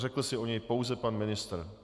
Řekl si o něj pouze pan ministr.